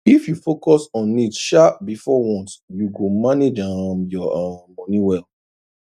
if you focus on needs um before wants you go manage um your um money well